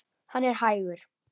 Hann er hægur.